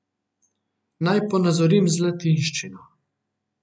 Naj ponazorim z latinščino.